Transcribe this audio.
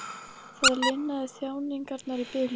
Það linaði þjáningarnar í bili.